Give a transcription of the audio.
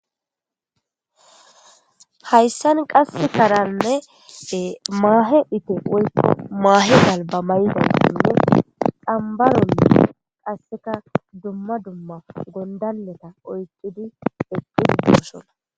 hayssan qasse karanne maahe ite woykka maahe alba maydaninne dambaronne qasseka dumma dumma gondaleta oyqidi ekkidi doosona